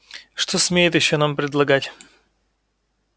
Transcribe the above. что смеет ещё нам предлагать